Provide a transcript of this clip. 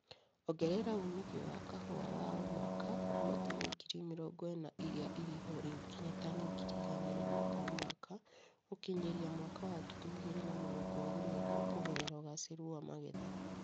Ongerera umithio wa kahũa wa o mwaka kuuma tani ngiri mĩrongo ĩna irĩa irĩho rĩu nginya tani ngiri igana rĩmwe o mwaka gũkinyĩria mwaka wa ngiri igĩrĩ na mĩrongo ĩrĩ na igĩrĩ kũgerera ũgacĩru wa magetha